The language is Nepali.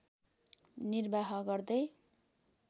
निर्वाह गर्दै